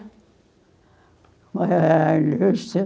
Como era a indústria?